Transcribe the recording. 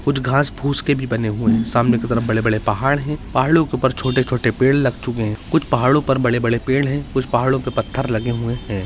कुछ घास-पूस के भी बने हुए हैं सामने की तरफ बड़े-बड़े पहाड़ हैं पहाड़ो के ऊपर छोटे-छोटे पेड़ लग चके हैं कुछ पहाड़ो पर बड़े-बड़े पेड़ हैं कुछ पहाड़ो पे पत्थर लगे हुए हैं।